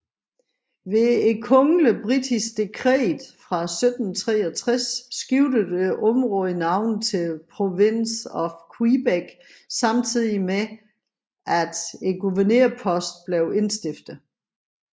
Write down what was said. Ved kongeligt britisk dekret fra 1763 skiftede området navn til Province of Quebec samtidig med at guvernørposten blev indstiftet